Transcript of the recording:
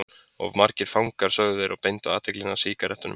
Of margir fangar sögðu þeir og beindu athyglinni að sígarettunum.